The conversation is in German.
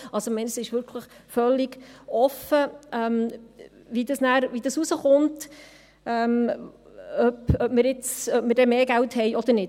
Es ist wirklich völlig offen, wie das ausgehen wird, ob wir dann mehr Geld haben oder nicht.